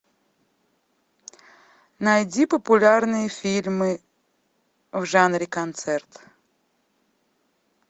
найди популярные фильмы в жанре концерт